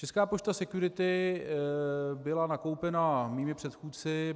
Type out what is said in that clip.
Česká pošta Security byla nakoupena mými předchůdci.